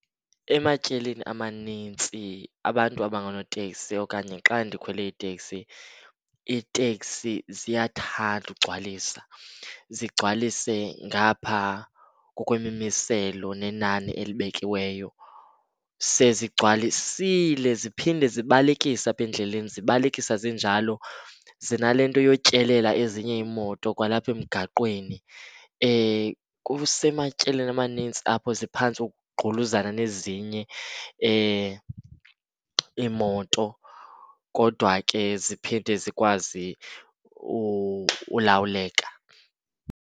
Ematyelini amanintsi abantu abangoonoteksi okanye xa ndikhwele iteksi, iiteksi ziyathanda ukugcwalisa. Zigcwalise ngapha ngokwemimiselo nenani elibekiweyo. Sezigcwasile ziphinde zibalekise apha endleleni. Zibalekisa zinjalo zinale nto yotyelela ezinye iimoto kwalapha emgaqweni. Kusematyelini amanintsi apho ziphantse ukugquluzana nezinye iimoto, kodwa ke ziphinde zikwazi ulawuleka.